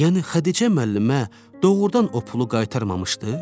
Yəni Xədicə müəllimə doğrudan o pulu qaytarmamışdı?